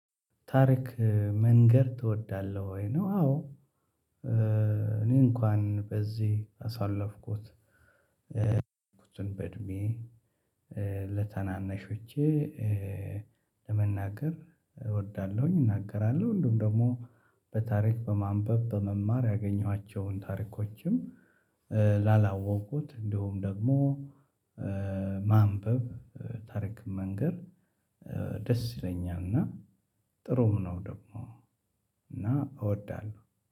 ታሪክ መንገር ትወዳለህ ወይ ነው? አዎ እኔ እንኳን በዚህ አሳለፍኩት። በእድሜ ለታናነሽዎቸ ለመናገር እወዳለሁኝ። እናገራለሁ እንደውም ደግሞ በታሪክ በማንበብ በመማር ያገኘኋቸውን ታሪኮችን። ላላወቁት እንሁም ደግሞ ማንበብ ታሪክን መንገር ደስ ይለኛል። እና ጥሩም ነው ደግሞ እና እወዳለሁ።